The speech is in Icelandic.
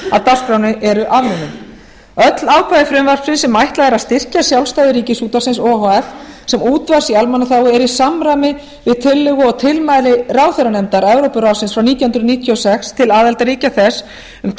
dagskránni eru afnumin öll ákvæði frumvarpsins sem ætlað er að styrkja sjálfstæði ríkisútvarpsins o h f sem útvarps í almannaþágu er í samræmi við tillögu og tilmæli ráðherranefndar evrópuráðsins frá nítján hundruð níutíu og sex til aðildarríkja þess um